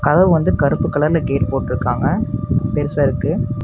அதூ வந்து கருப்பு கலர்ல கேட் போட்ருக்காங்க. பெருசா இருக்கு.